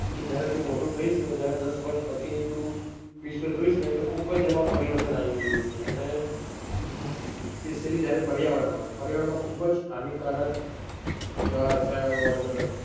કે જયારે તું મોટો થઇ ને જયારે દસ વરસ પછી તું વિશ્વ જોઇ ને તો ખુબજ એમાં પરિવર્તન આવી ગયું હશે. અને specially જયારે પર્યાવરણ માં પર્યાવરણ માં ખુબ જ હાનિકારક એવા રસાયણો ને મતલબ,